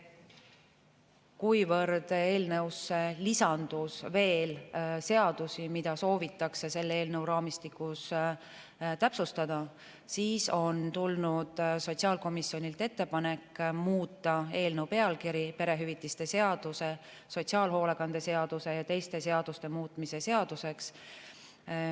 Kuivõrd eelnõusse lisandus veel seadusi, mida soovitakse selle eelnõu raamistikus täpsustada, siis on tulnud sotsiaalkomisjonilt ettepanek muuta eelnõu pealkiri "Perehüvitiste seaduse, sotsiaalhoolekande seaduse ja teiste seaduste muutmise seaduseks".